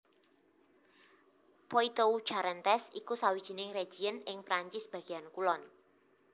Poitou Charentes iku sawijining région ing Perancis bagéan kulon